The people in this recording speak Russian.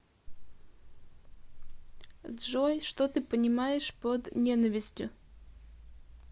джой что ты понимаешь под ненавистью